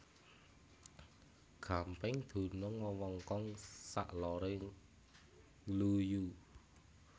Gampeng dunung wewengkon sak lore Ngluyu